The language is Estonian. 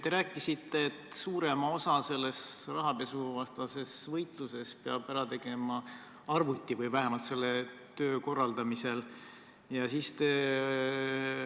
Te rääkisite, et suurema osa selles rahapesuvastases võitluses või vähemalt selle töö korraldamisel peab ära tegema arvuti.